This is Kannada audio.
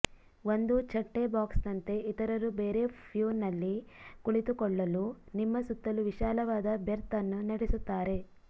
ಒಂದು ಛಟ್ಟೆಬಾಕ್ಸ್ನಂತೆ ಇತರರು ಬೇರೆ ಪ್ಯೂನಲ್ಲಿ ಕುಳಿತುಕೊಳ್ಳಲು ನಿಮ್ಮ ಸುತ್ತಲೂ ವಿಶಾಲವಾದ ಬೆರ್ತ್ ಅನ್ನು ನಡೆಸುತ್ತಾರೆ